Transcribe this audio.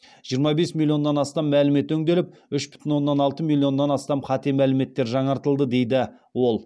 жиырма бес милионнан астам мәлімет өңделіп үш бүтін оннан алты миллионнан астам қате мәліметтер жаңартылды деді ол